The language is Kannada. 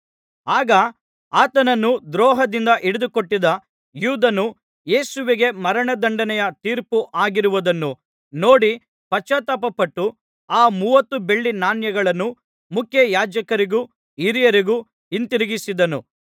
ಆಗ ಆತನನ್ನು ದ್ರೋಹದಿಂದ ಹಿಡಿದುಕೊಟ್ಟಿದ್ದ ಯೂದನು ಯೇಸುವಿಗೆ ಮರಣದಂಡನೆಯ ತೀರ್ಪು ಆಗಿರುವುದನ್ನು ನೋಡಿ ಪಶ್ಚಾತ್ತಾಪಪಟ್ಟು ಆ ಮೂವತ್ತು ಬೆಳ್ಳಿ ನಾಣ್ಯಗಳನ್ನು ಮುಖ್ಯಯಾಜಕರಿಗೂ ಹಿರಿಯರಿಗೂ ಹಿಂದಿರುಗಿಸಿದನು